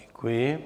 Děkuji.